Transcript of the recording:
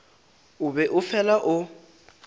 o be o fela o